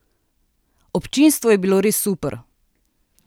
Občinstvo je bilo res super!